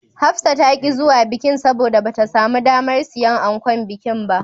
Hafsa ta ƙi zuwa bikin, saboda bata samu damar siyan ankon bikin ba.